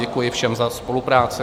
Děkuji všem za spolupráci.